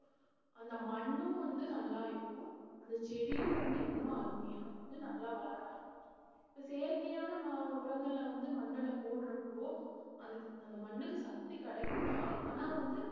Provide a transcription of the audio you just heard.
அந்த மண்ணும் வந்து நல்லா இருக்கும் அந்த செடியும் வந்து இன்னும் அருமையா வந்து நல்லா வளர ஆரம்பிச்சிடும் இப்ப செயற்கையான ம~ உரங்கள்ல வந்து மண்ணுல போடுறப்போ அதுக்கு அந்த மண்ணுக்கு சக்தி கிடைக்கும்தான் ஆனா வந்து